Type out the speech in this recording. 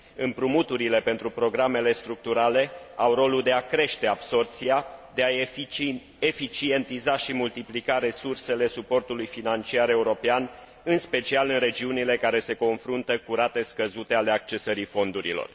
Împrumuturile pentru programele structurale au rolul de a crește absorbția, de a eficientiza și multiplica resursele suportului financiar european, în special în regiunile care se confruntă cu rate scăzute ale accesării fondurilor.